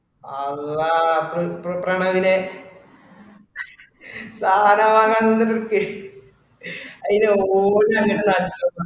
അള്ളാ ഇപ്ര ഇപ്ര വേണ അതില സാനം വാങ്ങാന് ന്നൊക്കെ അയിന് ഓടി നടന്നിട്ട് നട